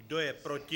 Kdo je proti?